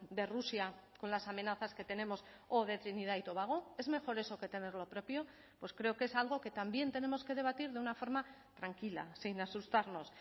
de rusia con las amenazas que tenemos o de trinidad y tobago es mejor eso que tenerlo propio pues creo que es algo que también tenemos que debatir de una forma tranquila sin asustarnos